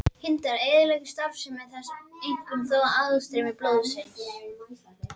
Hindrar þetta eðlilega starfsemi þess, einkum þó aðstreymi blóðsins.